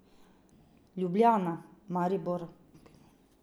Ljubljana, Maribor.